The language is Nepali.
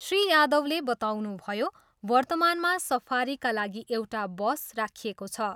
श्री यादवले बताउनुभयो, वर्तमानमा सफारीका लागि एउटा बस राखिएको छ।